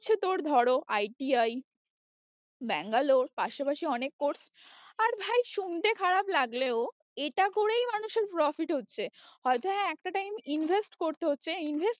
করছে তোর ধরো ITI ব্যাঙ্গালোর পাশা পাশি অনেক course আর ভাই শুনতে খারাপ লাগলেও এটা করেই মানুষের profit হচ্ছে, হয়তো হ্যাঁ একটা time invest করতে হচ্ছে invest